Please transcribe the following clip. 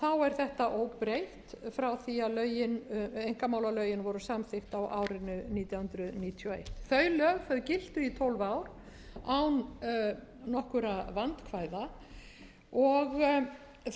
er þetta óbreytt frá því að einkamálalögin voru samþykkt á árinu nítján hundruð níutíu og eitt þau lög giltu í tólf ár